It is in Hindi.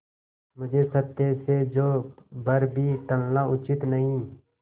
मुझे सत्य से जौ भर भी टलना उचित नहीं